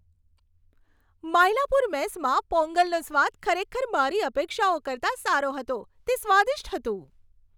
માયલાપુર મેસમાં પોંગલનો સ્વાદ ખરેખર મારી અપેક્ષાઓ કરતાં સારો હતો. તે સ્વાદિષ્ટ હતું.